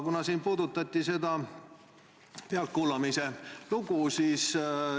Siin puudutati seda pealtkuulamise lugu.